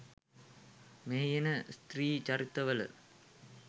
මෙහි එන ස්ත්‍රී චරිත වල